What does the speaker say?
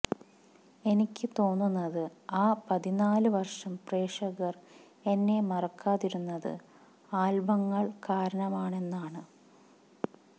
എനിക്ക് തോന്നുന്നത് ആ പതിനാല് വര്ഷം പ്രേക്ഷകര് എന്നെ മറക്കാതിരുന്നത് ആല്ബങ്ങള് കാരണമാണെന്നാണ്